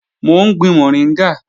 Mò ń gbin mọ̀ríngà